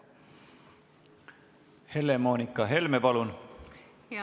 Helle-Moonika Helme, palun!